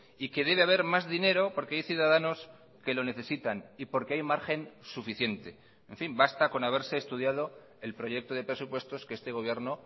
y que debe haber más dinero porque hay ciudadanos que lo necesitan y porque hay margen suficiente en fin basta con haberse estudiado el proyecto de presupuestos que este gobierno